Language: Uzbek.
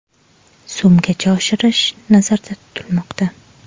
so‘mgacha oshirish nazarda tutilmoqda.